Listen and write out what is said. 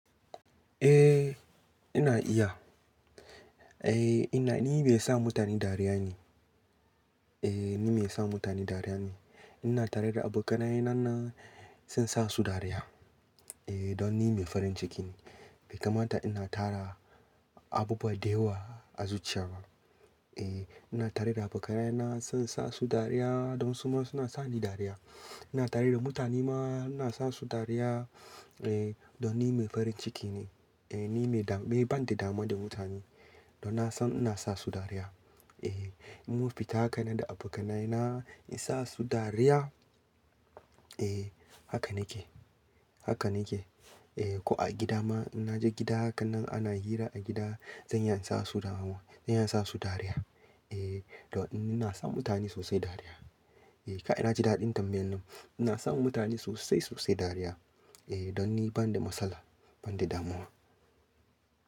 Eh ina iya. Eh ina, ni mai sa mutane dariya ne. Eh ni mai sa mutane dariya ne. Ina tare da abokanai na nan sai in sa su dariya. Eh don ni mai farin ciki ne. Bai kamata ina tara abubuwa da yawa a zuciya. Eh ina tare da abokanai na sai in sa su dariya don su ma suna sa ni dariya. Ina tare da mutane ma ina sa su dariya. Eh don ni mai farin ciki ne. Eh ni mai dami ban da damuwa da mutane. Don na san ina sa su dariya. Eh mun fita hakanan da abokanai na in sa su dariya. Eh haka nake. Haka nake. Eh ko a gida ma in naje gida haka nan ana hira a gida zan iya in sa su damuwa, zan iya in sa su dariya. Eh don ina sa mutane sosai dariya. Eh ka' na ji daɗin tambayan nan. Ina sa mutane sosai sosai dariya. Eh don ni ban da matsala, ban da damuwa.